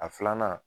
A filanan